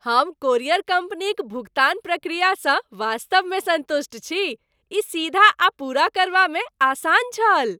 हम कोरियर कम्पनीक भुगतान प्रक्रियासँ वास्तवमे सन्तुष्ट छी। ई सीधा आ पूरा करबामे आसान छल।